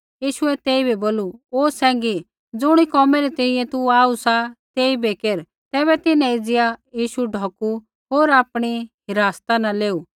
यीशुऐ तेइबै बोलू ओ सैंघी ज़ुणी कोमै री तैंईंयैं तू आऊ सा तेइबै केर तैबै तिन्हैं एज़िया यीशु ढौकू होर आपणी हिरासता न लेऊ